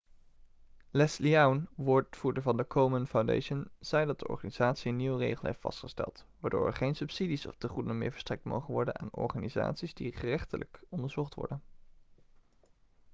leslie aun woordvoerder van de komen foundation zei dat de organisatie een nieuwe regel heeft vastgesteld waardoor er geen subsidies of tegoeden meer verstrekt mogen worden aan organisaties die gerechtelijk onderzocht worden